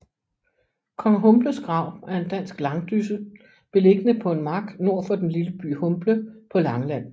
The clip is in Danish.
Kong Humbles Grav er en dansk langdysse beliggende på en mark nord for den lille by Humble på Langeland